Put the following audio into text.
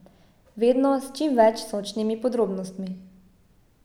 Vedno s čim več sočnimi podrobnostmi.